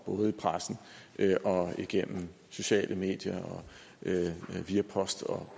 både i pressen igennem sociale medier via post og